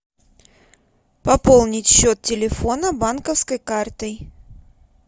пополнить счет телефона банковской картой